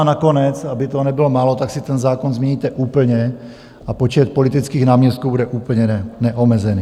A nakonec, aby toho nebylo málo, tak si ten zákon změníte úplně a počet politických náměstků bude úplně neomezený.